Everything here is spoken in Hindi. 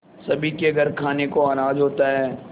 सभी के घर खाने को अनाज होता है